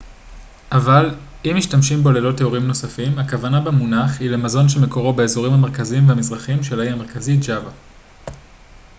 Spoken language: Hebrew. אבל אם משתמשים בו ללא תיאורים נוספים הכוונה במונח היא למזון שמקורו באזורים המרכזיים והמזרחיים של האי המרכזי ג'אווה